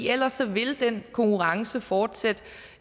ellers vil den konkurrence fortsætte